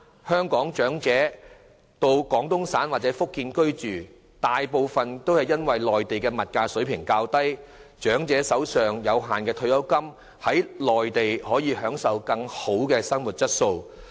香港長者移居廣東省或福建，大部分原因是內地物價水平較低，長者可利用手上有限的退休金在內地享受質素更佳的生活。